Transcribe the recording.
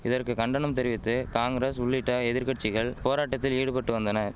இதற்கு கண்டனம் தெரிவித்து காங்கிரஸ் உள்ளிட்ட எதிர்கட்சிகள் போராட்டத்தில் ஈடுபட்டு வந்தன